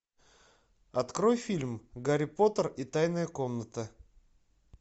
открой фильм гарри поттер и тайная комната